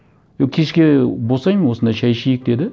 е кешке босаймын осында шай ішейік деді